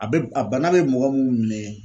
A bɛ a bana be mɔgɔ mun mine